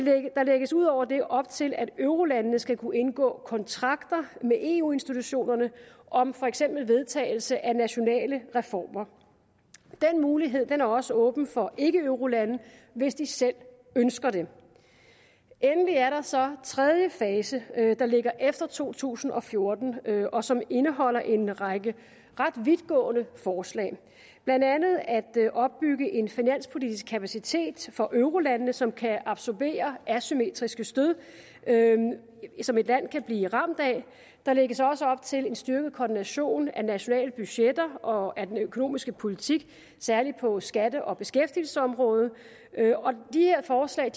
der lægges ud over det op til at eurolandene skal kunne indgå kontrakter med eu institutionerne om for eksempel vedtagelse af nationale reformer den mulighed er også åben for ikkeeurolande hvis de selv ønsker det endelig er der så tredje fase der ligger efter to tusind og fjorten og som indeholder en række ret vidtgående forslag blandt andet at opbygge en finanspolitisk kapacitet for eurolandene som kan absorbere asymmetriske stød som et land kan blive ramt af der lægges også op til en styrket koordination af nationale budgetter og af den økonomiske politik særligt på skatte og beskæftigelsesområdet de her forslag